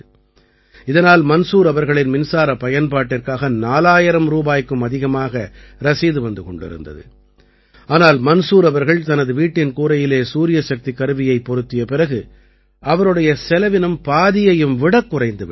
இதனால் மன்சூர் அவர்களின் மின்சாரப் பயன்பாட்டிற்காக 4000 ரூபாய்க்கும் அதிகமாக ரசீது வந்து கொண்டிருந்தது ஆனால் மன்சூர் அவர்கள் தனது வீட்டின் கூரையிலே சூரியசக்திக் கருவியைப் பொருத்தியபிறகு அவருடைய செலவினம் பாதியையும் விடக் குறைந்து விட்டது